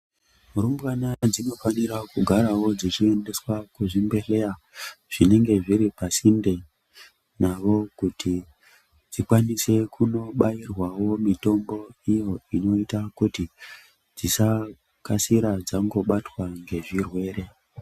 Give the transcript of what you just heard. Murumbwana dzinofanirao kugarao dzichiendeswa kuchibhedhlera zvinenge zviri pasinte nao kuti dzikwanise kunobairwao mitombo iyo inoita kuti dzisakasira dzangobatwa nezvirwere.